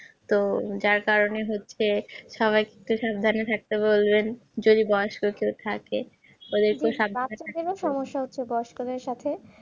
তো যার কারনে হচ্ছে সবাইকে সাবধানে থাকতে বলবেন যদি বয়স থাকে